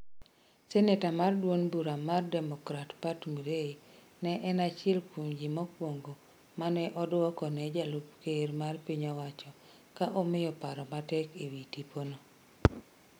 Senator mar duond bura mar democrats Pat Murray ne en achiel kuom ji mokwongo mane odwoko ne jalup ker mar piny owacho ka omiyo paro matek ewi tipo no.